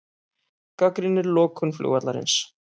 Gagnrýnir lokun flugvallarins